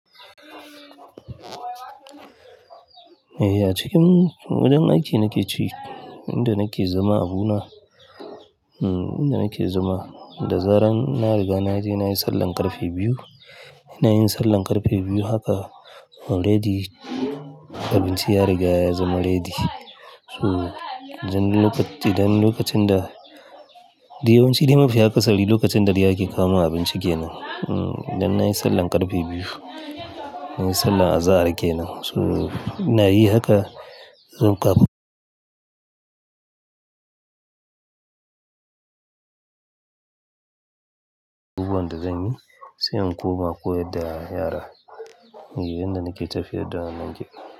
Eh, a cikin wajen aiki nake ci, inda nake zama abu na, hmm inda nake zama. Da zaran ina riga na je nayi sallar ƙarfe biyu. Ina yin sallar ƙarfe biyu haka already abinci ya riga ya zama ready. So, idan lokacin da, dayawan ci dai mafi akasari lokacin da de ake kamuwa abinci kenan. Hmm, idan nayi sallar ƙarfe biyu, nayi sallar azahar kenan. So ina yi haka, zan kaɓa. Abubuwan da zanyi, sai in koma ko yar yara. Mai inda nake tafiya da wannan kenan.